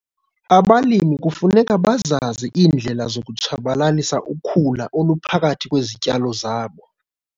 Abalimi kufuneka bazazi iindlela zokutshabalalisa ukhula oluphakathi kwezityalo zabo.